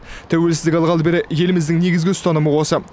тәуелсіздік алғалы бері еліміздің негізгі ұстанымы осы